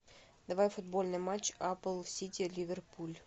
давай футбольный матч апл сити ливерпуль